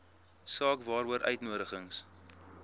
saak waaroor uitnodigings